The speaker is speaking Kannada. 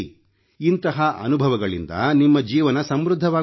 ಇಂತಹ ಅನುಭವಗಳಿಂದ ನಿಮ್ಮ ಜೀವನ ಸಮೃದ್ಧವಾಗುತ್ತದೆ